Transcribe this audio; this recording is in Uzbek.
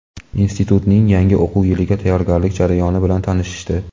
institutning yangi o‘quv yiliga tayyorgarlik jarayoni bilan tanishdi.